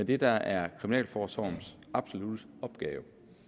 det der er kriminalforsorgens absolutte opgave